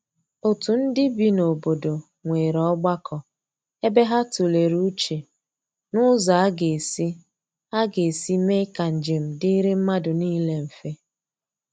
otu ndi bị n'obodo nwere ogbako ebe ha tulere uche n'ụzọ aga esi aga esi mee ka njem diri madu nile mfe.